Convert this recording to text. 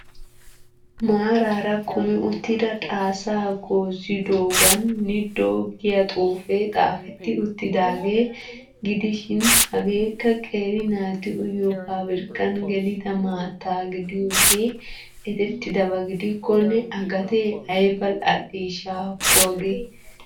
Maarara kumi uttida xaasaa goozzidoogan 'NIDO' giya xuufee xaafetti uttidaagaa gidishshiin hageekka qeeri naati uyiyo pabirkkan gelida maattaa gidiyoogee erettidabaa gidikkonne A gatee ayba al'iishsha haakko hagee.